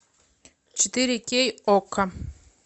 четыре кей окко